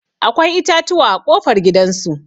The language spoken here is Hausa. Akwai itatuwa a ƙofar gidan su.